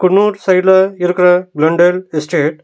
குன்னூர் சைடுல இருக்குற London estate .